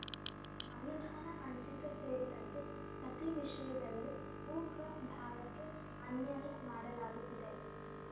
ಅನುದಾನ ಹಂಚಿಕೆ ಸೇರಿದಂತೆ ಪ್ರತಿ ವಿಷಯದಲ್ಲೂ ಉಕ ಭಾಗಕ್ಕೆ ಅನ್ಯಾಯ ಮಾಡಲಾಗುತ್ತಿದೆ